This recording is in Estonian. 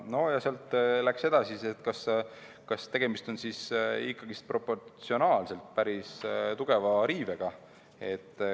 Sealt läks arutelu edasi, et tegemist on ikkagi proportsionaalselt päris tugeva riivega.